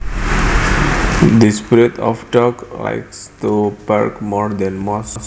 This breed of dog likes to bark more than most